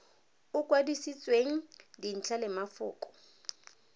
o kwadisitsweng dintlha le mafoko